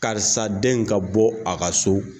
Karisa den ka bɔ a ka so